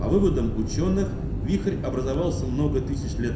а выводом учёных вихрь образовался много тысяч лет